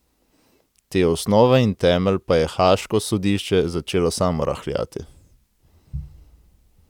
Te osnove in temelj pa je Haaško sodišče začelo samo rahljati.